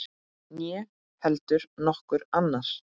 Né heldur nokkur annar.